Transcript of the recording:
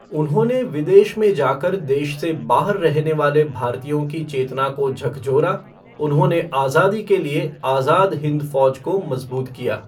उन्होंने विदेश में जाकर देश से बाहर रहने वाले भारतीयों की चेतना को झकझोरा, उन्होंने आज़ादी के लिए आज़ाद हिन्द फौज को मजबूत किया।